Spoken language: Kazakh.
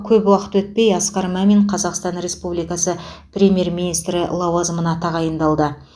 көп уақыт өтпей асқар мамин қазақстан республикасы премьер министрі лауазымына тағайындалды